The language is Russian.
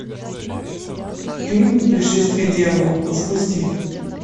фильм пришествие дьявола запусти